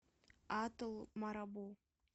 атл марабу